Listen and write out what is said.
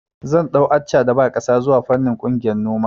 Zan ɗau Accha da ba ƙasa zuwa fannin ƙungiyar noma